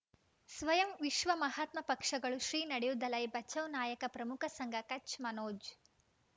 ಸ್ವಯಂ ವಿಶ್ವ ಮಹಾತ್ಮ ಪಕ್ಷಗಳು ಶ್ರೀ ನಡೆಯೂ ದಲೈ ಬಚೌ ನಾಯಕ ಪ್ರಮುಖ ಸಂಘ ಕಚ್ ಮನೋಜ್